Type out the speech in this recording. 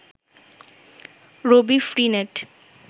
Rabi free net